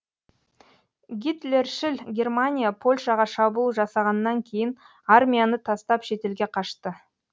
гитлершіл германия польшаға шабуыл жасағаннан кейін армияны тастап шетелге қашты